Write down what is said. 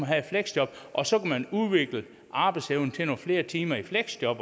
have et fleksjob og så man udvikle arbejdsevnen til nogle flere timer i fleksjob